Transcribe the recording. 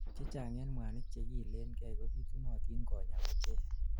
chechang en mwanik chekiilenkei kobitunotin konyaa kochek